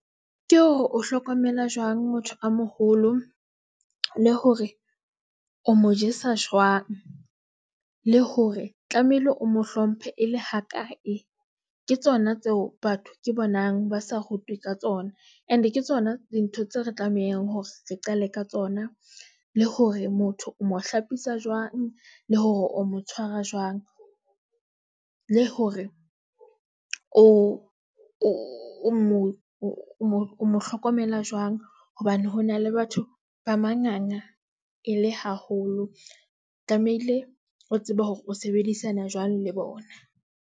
Ke hore o hlokomela jwang motho a moholo le hore o mo jesa jwang le hore tlamehile o mo hlomphe e le ha kae. Ke tsona tseo batho ke bonang ba sa rutwe ka tsona, and ke tsona dintho tseo re tlamehang hore re qale ka tsona le hore motho o mo hlapisa jwang le hore o mo tshwara jwang. Le hore o mo mo hlokomela jwang hobane hona le batho ba manganga e le haholo. Tlamehile o tsebe hore o sebedisana jwang le bona.